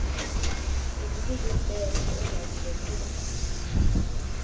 uvukuzumbethe engazi nokuba